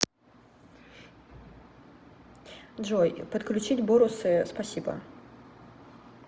джой подключить борусы спасибо